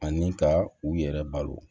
Ani ka u yɛrɛ balo